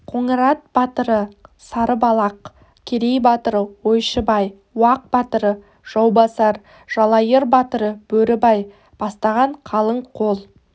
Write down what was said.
қоңырат батыры сарыбалақ керей батыры ойшыбай уақ батыры жаубасар жалайыр батыры бөрібай бастаған қалың қол